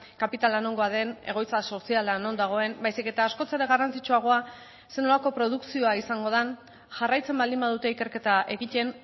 kapitala nongoa den egoitza soziala non dagoen baizik eta askoz ere garrantzitsuagoa zer nolako produkzioa izango den jarraitzen baldin badute ikerketa egiten